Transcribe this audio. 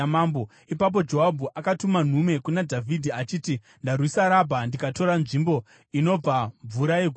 Ipapo Joabhu akatuma nhume kuna Dhavhidhi, achiti, “Ndarwisa Rabha ndikatora nzvimbo inobva mvura yeguta iri.